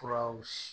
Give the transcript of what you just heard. Furaw